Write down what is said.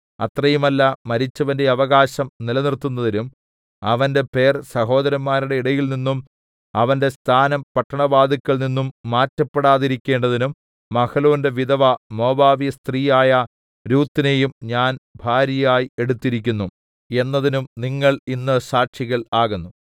അത്രയുമല്ല മരിച്ചവന്റെ അവകാശം നിലനിർത്തുന്നതിനും അവന്റെ പേർ സഹോദരന്മാരുടെ ഇടയിൽനിന്നും അവന്റെ സ്ഥാനം പട്ടണവാതില്ക്കൽനിന്നും മാറ്റപ്പെടാതിരിക്കേണ്ടതിനും മഹ്ലോന്റെ വിധവ മോവാബ്യസ്ത്രീയായ രൂത്തിനെയും ഞാൻ ഭാര്യയായി എടുത്തിരിക്കുന്നു എന്നതിന്നും നിങ്ങൾ ഇന്ന് സാക്ഷികൾ ആകുന്നു